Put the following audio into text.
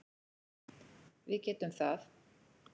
Við getum það